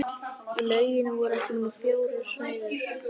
Í lauginni voru ekki nema fjórar hræður.